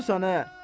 Lotusan e.